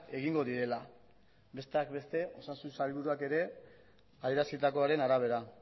egingo direla besteak beste osasun sailburuak ere adierazitakoaren arabera